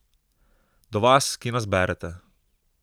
Do vas, ki nas berete.